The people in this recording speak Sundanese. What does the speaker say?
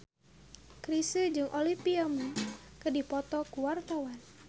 Chrisye jeung Olivia Munn keur dipoto ku wartawan